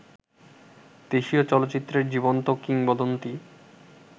দেশীয় চলচ্চিত্রের জীবন্ত কিংবদন্তি